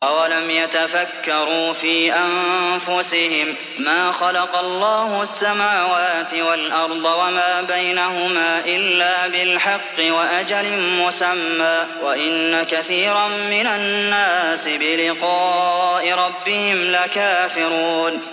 أَوَلَمْ يَتَفَكَّرُوا فِي أَنفُسِهِم ۗ مَّا خَلَقَ اللَّهُ السَّمَاوَاتِ وَالْأَرْضَ وَمَا بَيْنَهُمَا إِلَّا بِالْحَقِّ وَأَجَلٍ مُّسَمًّى ۗ وَإِنَّ كَثِيرًا مِّنَ النَّاسِ بِلِقَاءِ رَبِّهِمْ لَكَافِرُونَ